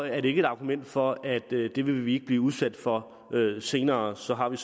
er det ikke et argument for at det vil vi ikke blive udsat for senere og så har vi